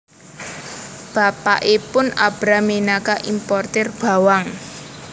Bapakipun Abram minangka importir bawang